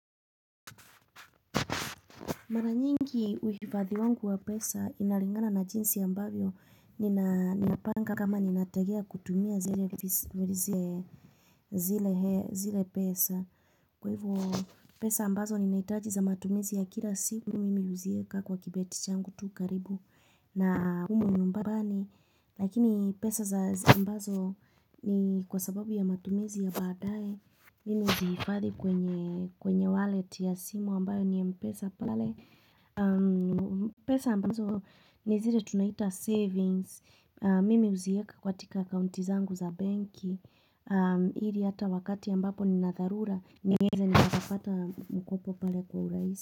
Mara nyingi uhifadhi wangu wa pesa inalingana na jinsi ambavyo ninapanga kama ninategea kutumia zile pesa kwa hivyo pesa ambazo ninahitaji za matumizi ya kila siku mimi huziweka kwa kibeti changu tu karibu na humu nyumbani Lakini pesa za za ambazo ni kwa sababu ya matumizi ya baadaye huuzihifadhi kwenye wallet ya simu ambayo ni mpesa pale. Pesa ambazo ni zile tunaita savings mimi huziweka katika akaunti zangu za benki ili hata wakati ambapo nina dharura niweza nikapapata mkopo pale kwa urahisi.